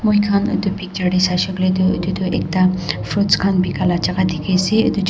moi khan edu picture tae saishey koilae tu edu tu ekta fruits khan bikai la jaka dikhiase.